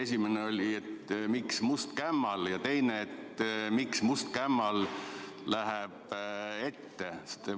Esimene on, miks must kämmal, ja teine, miks mõni must kämmal läheb ette.